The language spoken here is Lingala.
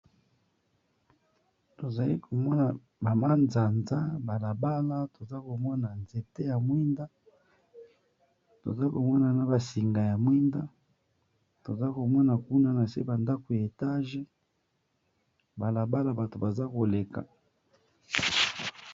tozaki komona bamanzanza balabala toza komona nzete ya mwinda toza komona na basinga ya mwinda toza komona kuna na se bandako ya etage balabala bato baza koleka